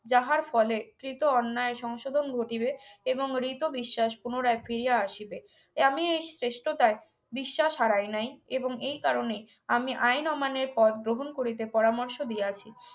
যাহার ফলে কৃত অন্যায় সংশোধন ঘটিবে এবং রিতবিশ্বাস পুনরায় ফিরে আসিবে আমি এই শ্রেষ্ঠতায় বিশ্বাস হারাই নাই এবং এই কারণে আমি আইন অমান্যের পথ গ্রহণ করিতে পরামর্শ দিয়াছি